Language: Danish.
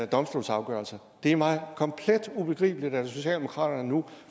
domstolsafgørelser det er mig komplet ubegribeligt at socialdemokratiet nu